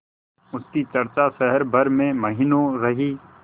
उसकी चर्चा शहर भर में महीनों रही